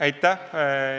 Aitäh!